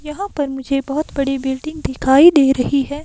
यहाँ पर मुझे बहुत बड़ी बिल्डिंग दिखाई दे रही है।